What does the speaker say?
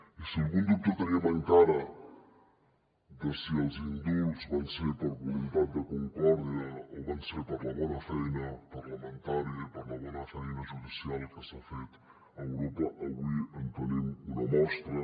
i si algun dubte teníem encara de si els indults van ser per voluntat de concòrdia o van ser per la bona feina parlamentària i per la bona feina judicial que s’ha fet a europa avui en tenim una mostra